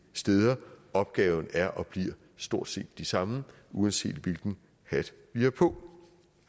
steder opgaverne er og bliver stort set de samme uanset hvilken hat vi har på